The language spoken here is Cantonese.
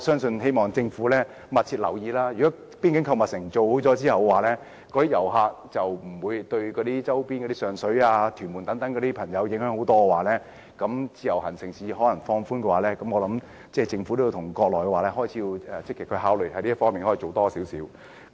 我希望政府密切留意，如果邊境購物城建成後，遊客便不會對一些周邊地區，包括上水、屯門等居民造成影響，然後政府便應再考慮放寬自由行，相信政府也可以與國內積極考慮這方面的工作。